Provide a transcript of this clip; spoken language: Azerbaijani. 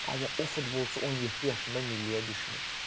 Amma o futbolçu 17 yaşında milliyə düşmür.